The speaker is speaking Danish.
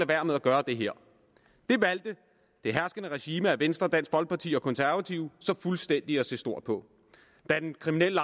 være med at gøre det her det valgte det herskende regime bestående af venstre dansk folkeparti og konservative så fuldstændig at se stort på da den kriminelle